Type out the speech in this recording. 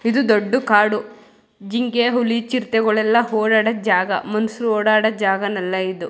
ಇದು ದೊಡ್ಡ ಕಾಡು ಜಿಂಕೆ ಹುಲಿ ಚಿರತೆಗಳೆಲ್ಲ ಓಡಾಡೋ ಜಾಗ ಮನ್ಸ್ರು ಓಡಾಡೋ ಜಾಗನಲ್ಲ ಇದು --